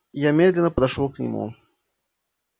я медленно пошёл к нему